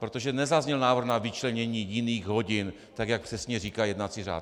Protože nezazněl návrh na vyčlenění jiných hodin tak, jak přesně říká jednací řád.